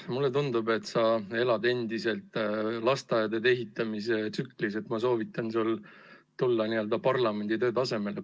Mulle tundub, et sa elad endiselt lasteaedade ehitamise tsüklis, aga ma soovitan sul tulla parlamendi töö tasemele.